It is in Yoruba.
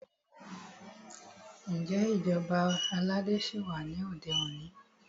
Ǹjẹ́ ìṣèjọba ọba aládé ṣí wà ní òde òní?